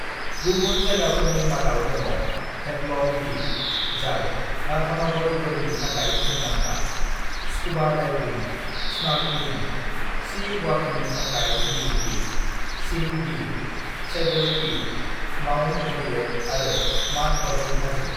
"गुबुन जायगाफोरनि मादाव दङ हेबलक दिप, जाय राधानगर बोरिनि थाखाय मुंदांखा, स्कूबा डाइभिं/स्नर्कलिं/सी वॉकिंनि थाखाय नील दिप, सिंक दिप, सैडल पीक, माउन्ट हेरियेट आरो माड अरगें हाजो।"